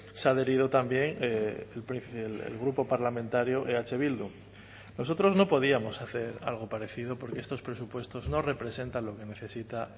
se ha adherido también el grupo parlamentario eh bildu nosotros no podíamos hacer algo parecido porque estos presupuestos no representan lo que necesita